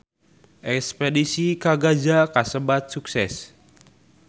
Espedisi ka Gaza kasebat sukses